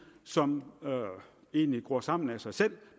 som egentlig gror sammen af sig selv